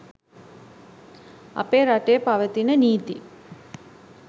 අපේ රටේ පවතින නීති